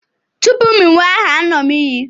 Tupu m ewee aha, m aṅụ iyi.